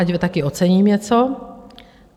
Ať taky ocením něco.